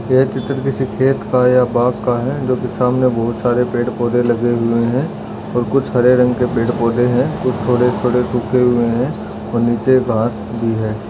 यह चित्र किसी खेत का है या बाग का है जो की सामने बहुत सारे पेड़पौधे लगे हुए है और कुछ हरे रंग के पेड़पौधे है कुछ थोड़े थोड़े सके हुए है और नीचे घाँस भी है।